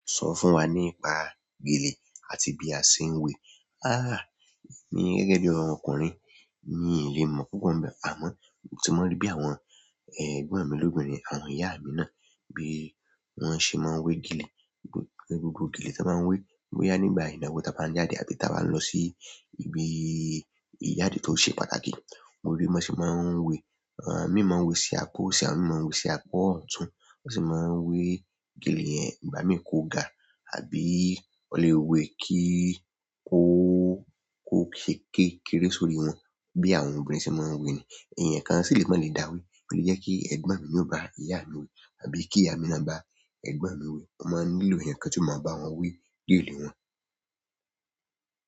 Sọ fún wa nípa gèlè àti bí a ṣe ń wé. Emi gẹ́gẹ́ bí ọkùnrin mi ì le mọ̀ púpọ̀ n bẹ́, àmọ́ èyí ti mo rí bí àwọn ẹ̀gbọ́n mi lóbinrin àwọn ìyá mi náà bí wọ́n ṣe máa ń wé gèlè. Gbogbo gele tan maa n we boya nígbà ìnáwó ta ba n jáde àbí ta ba n lo si ibi ìjáde tó ṣe pàtàkì. Mo rí bí wọ́n ṣe máa ń wé, àwọn mí máa ń wé sí apá òsì, àwọn mí máa ń wé sí apá ọ̀tún. Wọ́n sì máa ń wé gèlè yẹ́n, ìgbà mí kó ga àbí wón lè wé kí kó, kó ṣe kékéré sórí wọn bí àwọn obìnrin ṣe máa ń wé nii. Ẹ̀eyàn kan sì lè máa le dáwé, ó le jẹ pe ẹ̀gbọ́n mi ni o bá ìyá mi wé àbí kí ìyá mi náà bá ẹ̀gbọ́n mi wé. Wọ́n máa ń nílò ẹ̀eyàn kan tí ó máa bá wọn wé gele wọn.